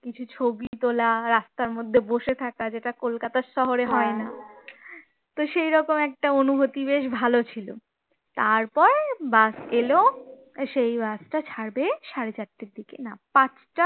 কিছু ছবি তোলা রাস্তার মধ্যে বসে থাকা যেটা কলকাতা শহরে হয় না তো সেরকম একটা অনুভূতি বেশ ভাল ছিল, তারপর bus এলো সেই bus টা ছাড়বে সাড়ে চারটে দিকে না পাঁচটা